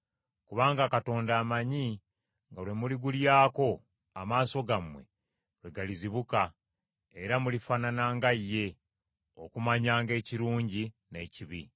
Kubanga Katonda amanyi nga lwe muligulyako amaaso gammwe lwe galizibuka, era mulifaanana nga ye, okumanyanga ekirungi n’ekibi.”